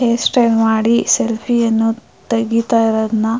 hairstyle ಮಾಡಿ ಸೆಲ್ಫಿಯೇ ಅನ್ನು ತೆಗಿತಾ ಇರೋದನ್ನ--